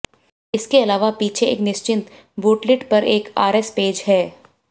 इसके अलावा पीछे एक निश्चित बूटलिड पर एक आरएस बैज है